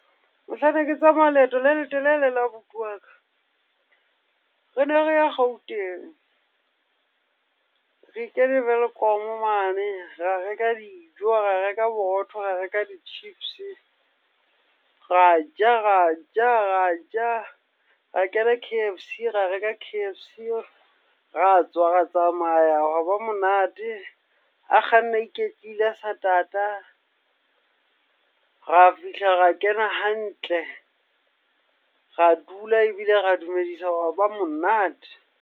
Mohlang ne ke tsamaya leeto le letelele le abuti wa ka, rene re ya Gauteng. Re kene Welkom mane, ra reka dijo, ra reka borotho, ra reka di-chips, ra ja, ra ja, ra ja. Ra kena K_F_C, ra reka K_F_C. Ra tswa ra tsamaya, hwa ba monate. A kganna a iketlile a sa tata. Ra fihla ra kena hantle, ra dula ebile ra dumedisa, hwa ba monate.